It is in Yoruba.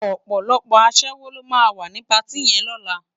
Òpòlòpò aṣèwó ló má wá ni páti yèn lòlá